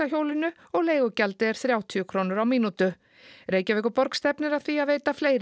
hjólinu og leigugjaldið er þrjátíu krónur á mínutu Reykjavíkurborg stefnir að því að veita fleiri